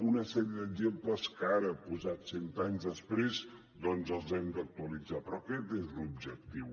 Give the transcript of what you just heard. una sèrie d’exemples que ara posats cent anys després doncs els hem d’actualitzar però aquest és l’objectiu